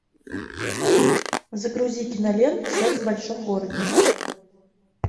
загрузи киноленту секс в большом городе